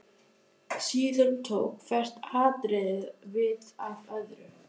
Síðan tók hvert atriðið við af öðru.